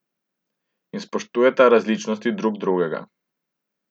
In spoštujeta različnost drug drugega.